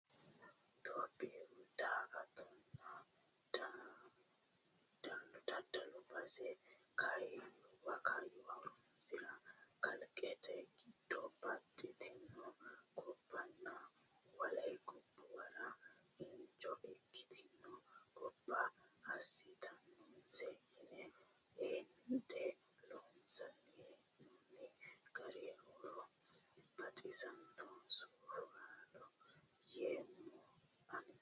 Itophiyu daa"attotenna daddallu base kaayyuwa horonsira kalqete giddo baxxitino gobbanna wole gobbuwara injo ikkitino gobba assittanose yine hende loonsanni hee'nonni gari horo baxisanoho sufolla yeemmo ani.